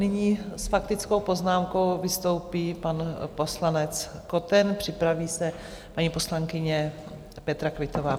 Nyní s faktickou poznámkou vystoupí pan poslanec Koten, připraví se paní poslankyně Petra Quittová.